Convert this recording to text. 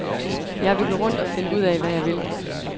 Jeg vil gå rundt og finde ud af, hvad jeg vil.